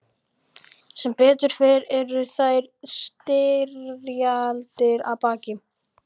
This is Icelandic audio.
Sem betur fer eru þær styrjaldir að baki.